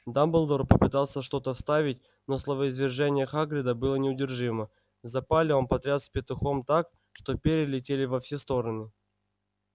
дамблдор попытался что-то вставить но словоизвержение хагрида было неудержимо в запале он потрясал петухом так что перья летели во все стороны